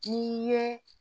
N'i ye